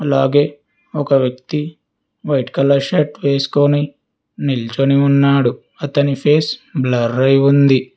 అలాగే ఒక వ్యక్తి వైట్ కలర్ షర్ట్ వేసుకొని నిల్చొని ఉన్నాడు అతని ఫేస్ బ్లరై ఉంది.